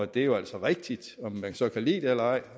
det jo altså rigtigt om man så kan lide det eller ej